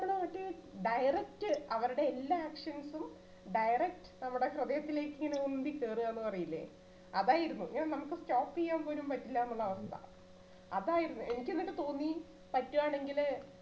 direct അവരുടെ എല്ലാ actions ഉം direct നമ്മുടെ ഹൃദയത്തിലേക്ക് ഇങ്ങനെ ഉന്തി കയറുക എന്ന് പറയില്ലേ, അതായിരുന്നു ഞാൻ നമുക്ക് stop ചെയ്യാൻ പോലും പറ്റില്ല എന്നുള്ള അവസ്ഥ, അതായിരുന്നു എനിക്ക് എന്നിട്ട് തോന്നി പറ്റുവാണെങ്കില്